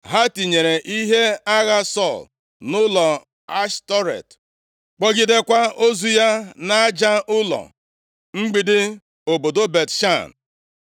Ha tinyere ihe agha Sọl nʼụlọ Ashtọret, kpọgidekwa ozu ya nʼaja ụlọ mgbidi obodo Bet-Shan.